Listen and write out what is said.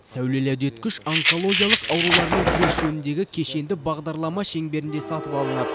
сәулелі үдеткіш онкологиялық аурулармен күрес жөніндегі кешенді бағдарлама шеңберінде сатып алынады